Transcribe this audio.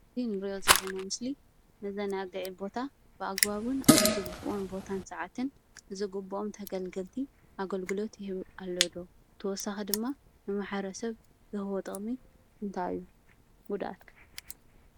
እዚ እንሪኦ ዘለና ምስሊ መዘናግዒ ቦታ ብኣግባቡን ኣብ ዝግበኦን ንቦታን ሰዓትን ዝግበኦም ተገልገልትን ኣገልግሎት ይህቡ አለው ዶ ? ብተወሳኪ ድማ ንማሕበረሰብ ዝህቦ ጠቅሚ እንታይ እዩ? ጉድአት ከ ?